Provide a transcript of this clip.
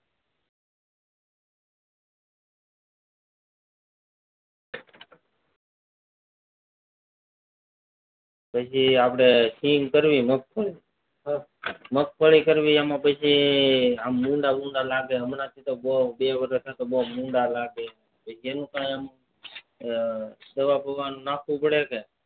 પછી આપડે સિંગ કરવી મગફળી મગફળી કરવી એમાં પછી ભૂંડા ભૂંડા લાગે હમણાં થી બહુ લાગે બે વર્ષ થી તો બહુ ભૂંડા ભુડા લાગે એનું કારણ દવા બાવા નાખવી પડે કે